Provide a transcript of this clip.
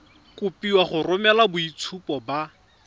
kopiwa go romela boitshupo ba